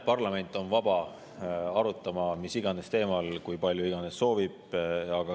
Parlament on vaba arutama mis iganes teemal kui palju iganes soovib.